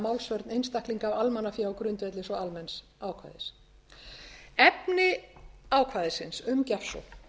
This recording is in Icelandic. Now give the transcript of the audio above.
málsvörn einstaklinga á almannafé á grundvelli svo almenns ákvæðis efni ákvæðisins um gjafsókn